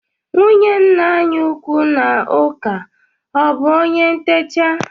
Nwunye nna anyị ukwu n'ụka ọ bụ onye ntecha?